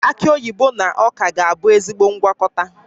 Aki oyibo na ọka ga-abụ ezigbo ngwakọta